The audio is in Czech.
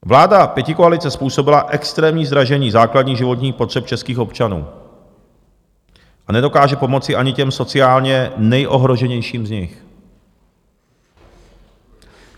Vláda pětikoalice způsobila extrémní zdražení základních životních potřeb českých občanů a nedokáže pomoci ani těm sociálně nejohroženějším z nich.